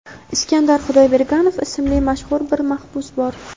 Iskandar Xudoyberganov ismli mashhur bir mahbus bor.